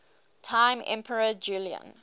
time emperor julian